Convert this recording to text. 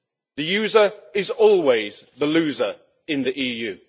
The user is always the loser in the EU.